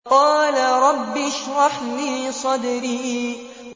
قَالَ رَبِّ اشْرَحْ لِي صَدْرِي